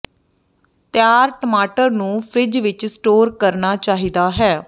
ਤਿਆਰ ਟਮਾਟਰ ਨੂੰ ਫਰਿੱਜ ਵਿੱਚ ਸਟੋਰ ਕਰਨਾ ਚਾਹੀਦਾ ਹੈ